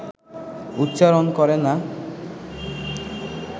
উচ্চারণ করে না